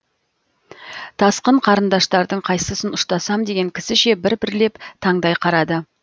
тасқын қарындаштардың қайсысын ұштасам деген кісіше бір бірлеп таңдай қарады